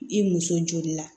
I muso joli la